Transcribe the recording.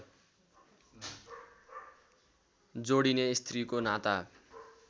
जोडिने स्त्रीको नाता